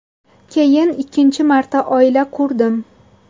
Keyin ikkinchi marta oila qurdim.